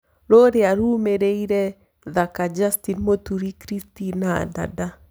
rũrĩa rurũmiriire thaka Justin muturi kristina dada